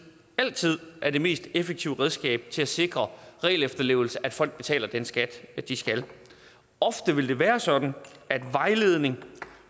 altid er det mest effektive redskab til at sikre regelefterlevelse og at folk betaler den skat de skal ofte vil det være sådan at vejledning